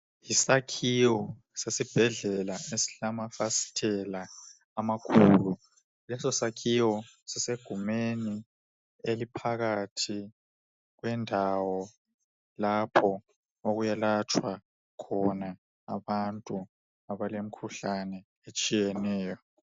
Yisakhiwo sesibhedlela esilamafasitela amakhulu. Leso sakhiwo sisegumeni eliphakathi kwendawo lapho okuyelatshwa khona abantu abalemkhuhlane etshiyeneyo.